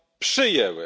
przyjęły.